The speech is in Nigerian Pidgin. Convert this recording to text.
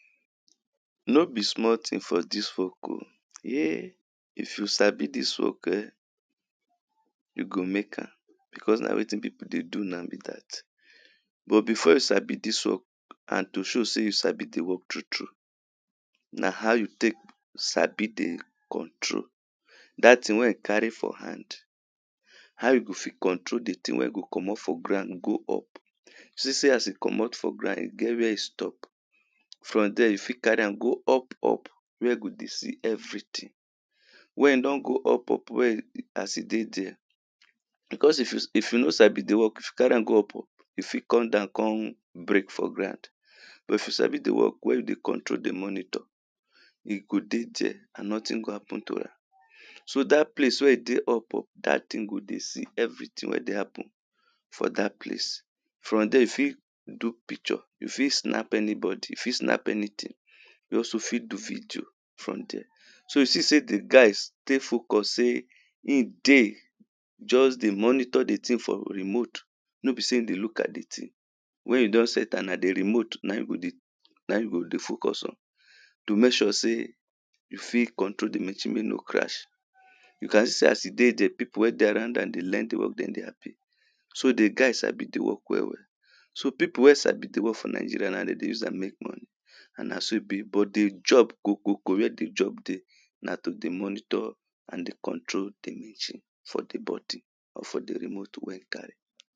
No be small tin for dis work o. Yea! If you sabi dis worn ehn! you go make am because na wetin people dey do now be dat. But before you sabi dis work and to show sey you sabi the work true true, na how you take sabi the control. Dat tin wey you carry for hand. How you go fit control the thing, wey e go comot for ground go up. You see sey as e comot for ground, e get where e stop. From dere you fit carry am go up up, where e go dey see everyhing. When e don go up up where e as e dey dere, because if you if you no sabi be work, if you carry am go up up, e fit come down con break for ground. but if you sabi the work wey you dey control the monitor E go dey dere and nothing go happen to am, So dat place wey dey up up, dat thing go dey see everything wey dey happen for dat place. From dere you fit do picture. You fit snap anybody. You fit snap anything. You also fit do video from dere. So you see sey the guys dey focus sey im dey. Just dey monitor the thing for remote. No be sey e dey look at the thing. When you don set am, na the remote na im you go dey, na im you go dey focus on. To make sure sey you fit control the machine make e no crash. you can see as you dey dere, people wey dey around am dey learn the work dem dey happy. So the guy sabi the work well well. So people wey sabi the work for Nigeria, na dem dey use am make money. And na so e be but the job ko ko ko wey de job dey na to dey monitor and dey control the machine for the body or for the remote wey you carry.